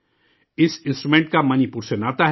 اس instrument کا Manipur سے ناطہ ہے